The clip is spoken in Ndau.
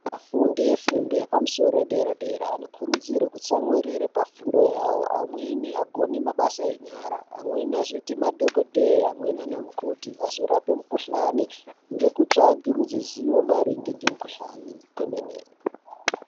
Vafundi vefundo yepamsoro wedera dera, anokhurudzirwa kutsamwirira pafundo yawo. Amweni agone mabasa enyara, amweni azoyite madhokodheya, amweni anamukoti, azorape mukhuhlane ngekutsvage ruziwo maringe ngemkhuhlane kwemene.